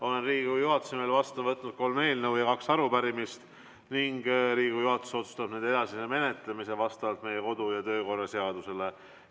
Olen Riigikogu juhatuse nimel vastu võtnud kolm eelnõu ja kaks arupärimist ning Riigikogu juhatus otsustab nende edasise menetlemise vastavalt meie kodu- ja töökorra seadusele.